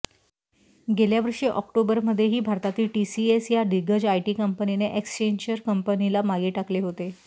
गेल्या वर्षी ऑक्टोबरमध्येही भारतातील टीसीएस या दिग्गज आयटी कंपनीने एक्सेंचर कंपनीला मागे टाकले होते